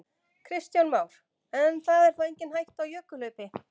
Kristján Már: En það er þá engin hætta á jökulhlaupi?